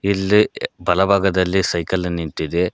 ಇಲ್ಲಿ ಬಲಭಾಗದಲ್ಲಿ ಸೈಕಲ್ ಅನ್ನ ಇಟ್ಟಿದೆ.